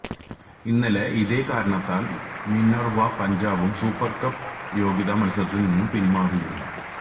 ഇന്നലെ ഇതേ കാരണത്താൽ മിനർവ്വ പഞ്ചാബും സൂപ്പർ കപ്പ് യോഗ്യതാ മത്സരത്തിൽ നിന്ന് പിന്മാറിയിരുന്നു